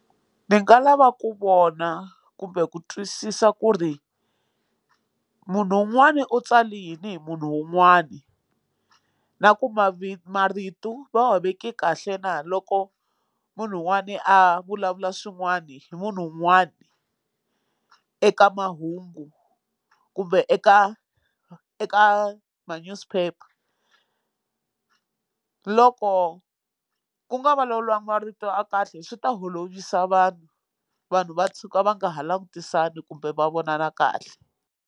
Ni nga lava ku vona kumbe ku twisisa ku ri munhu un'wani u tsale yini hi munhu un'wana na ku marito va veke kahle na loko munhu wun'wani a vulavula swin'wani hi munhu un'wani eka mahungu kumbe eka eka ma newspaper loko ku nga vulavuriwanga marito ya kahle swi ta holovisa vanhu vanhu va tshuka va nga ha langutisani kumbe va vonana kahle.